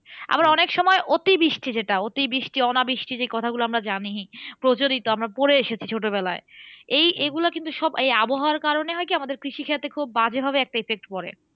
আবার অনেক সময় অতিবৃষ্টি যেটা। অতিবৃষ্টি, অনাবৃষ্টি যে কথা গুলো আমরা জানি প্রচলিত আমরা পরে এসেছি ছোটবেলায়। এই এগুলো কিন্তু সব এই আবহাওয়ার কারণে হয় কি? আমাদের কৃষিক্ষেত্রে খুব বাজে ভাবে একটা effect পরে।